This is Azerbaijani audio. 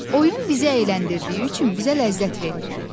Oyun bizi əyləndirdiyi üçün bizə ləzzət verir.